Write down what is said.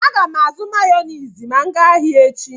A gam azu mayonezi ma m gaa ahia echi